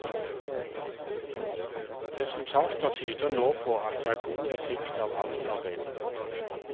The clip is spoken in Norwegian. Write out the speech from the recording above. Resultater tyder nå på at det er god effekt av avlsarbeidet.